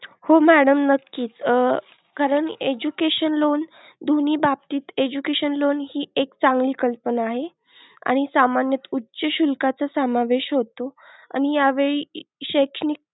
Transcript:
हो madam नक्कीच, कारण education loan दोन्ही बाबतीत education loan हि एक चांगली कल्पना आहे. आणि सामान्य उच्च शुल्काचा समावेश होतो. आणि यावेळी शैक्षणिक.